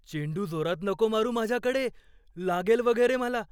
चेंडू जोरात नको मारू माझ्याकडे. लागेल वगैरे मला.